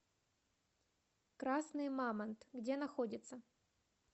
красный мамонт где находится